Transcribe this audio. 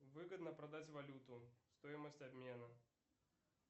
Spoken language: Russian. выгодно продать валюту стоимость обмена